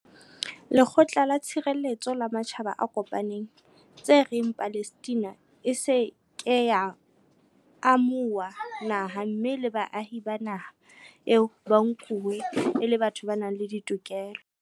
Lekgotla la Tshireletseho la Matjhaba a Kopaneng, tse reng Palestina e se ke ya amo huwa naha mme le baahi ba naha eo ba nkuwe e le batho ba nang le ditokelo.